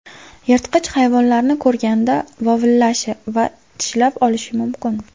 Yirtqich hayvonlarni ko‘rganda vovillashi va tishlab olishi mumkin.